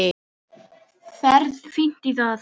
Ferð fínt í það.